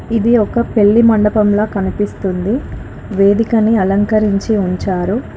ఇది ఒక పెళ్లి మండపం లా కనిపిస్తుంది వేదికను అలంకరించి ఉంచారు.